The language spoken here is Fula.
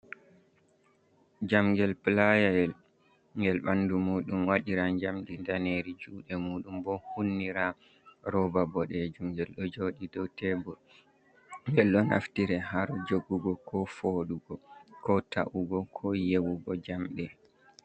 Njamngel playa'el ngel ɓandu muɗum waɗira njamdi ndaneri. Juɗe muɗum bo hunnira roba boɗejum. Ngel ɗo joɗi dou tebur, ngel ɗo naftire haro jogugo, ko foɗugo, ko ta’ugo, ko yewugo jamɗe.